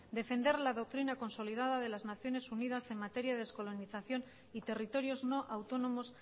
defender la doctrina consolidada de las naciones unidas en materia de descolonización y territorios no autónomos